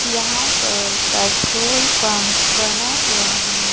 यहां पर petrol pump बना हुआ है।